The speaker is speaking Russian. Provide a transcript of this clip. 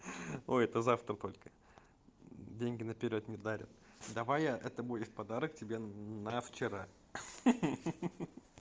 ой это завтра только деньги наперёд не дарят давай я это будет подарок тебе на вчера ха-ха